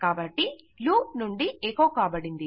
కాబట్టి లూప్ నుండి ఎకొ కాబడింది